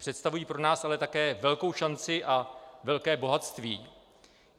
Představují pro nás ale také velkou šanci a velké bohatství.